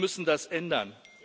Wir müssen das ändern.